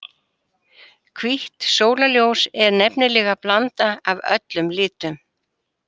Hvítt sólarljós er nefnilega blanda af öllum litum.